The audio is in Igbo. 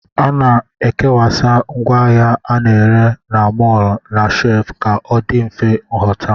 A na-akwasa ngwaahịa a na-ere na mọl na shef ka ọ dị mfe nhụta